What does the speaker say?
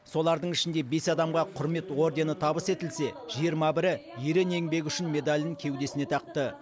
солардың ішінде бес адамға құрмет ордені табыс етілсе жиырма бірі ерен еңбегі үшін медалін кеудесіне тақты